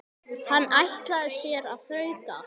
Hann ætlaði sér að þrauka.